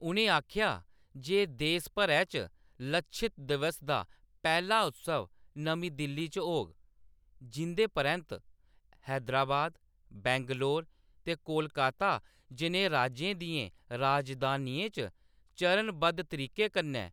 उʼनें आखेआ जे देश भरै च 'लच्छित दिवस' दा पैह्‌‌ला उत्सव नमीं दिल्ली च होग, जिंʼदे परैंत्त हैदराबाद, बैंगलोर ते कोलकाता जनेहे राज्यें दियें राजधानियें च चरणबद्ध तरीके कन्नै